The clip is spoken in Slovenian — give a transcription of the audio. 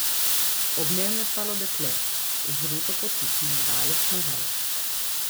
Ob njem je stalo dekle z ruto potisnjeno daleč nazaj.